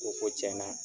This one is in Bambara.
O ko tiɲɛna